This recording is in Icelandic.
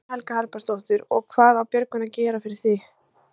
Guðný Helga Herbertsdóttir: Og hvað á Björgvin að gera, gera fyrir þig?